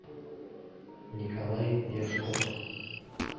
николай яшков